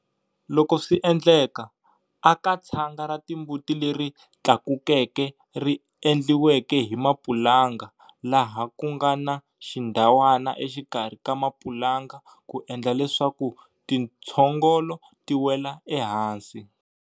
Loko swi endleka, aka tshanga ra timbuti leri tlakukeke ri endliweke hi mapulanga laha ku nga na xindhawana exikarhi ka mapulanga ku endla leswaku tintshogolo ti wela ehansi.